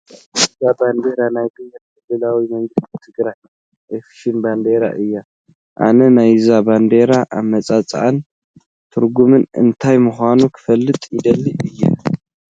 እዛ ባንዲራ ናይ ብሄራዊ ክልላዊ መንግስቲ ትግራይ ኦፊሻል ባንዴራ እያ፡፡ ኣነ ናይዛ ባንዴራ ኣመፃፅኣን ትርጉምን እንታይ ምዃኑ ክፈልጥ ይደሊ እየ፡፡